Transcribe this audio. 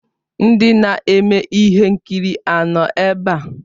Ndị na-eme ihe nkiri ha nọ ebe a?